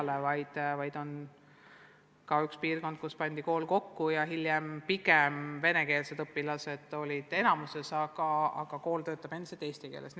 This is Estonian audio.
Näiteks on üks piirkond, kus pandi koolid kokku ja venekeelsed õpilased on enamuses, aga kool töötab endiselt eesti keeles.